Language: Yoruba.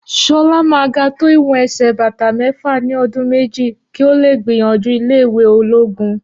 Ṣọlá máà ga tó ìwọn ẹsẹ bàtà méfà ní ọdún méjì, kìí ọ le gbìyànjú ilé ìwé ológun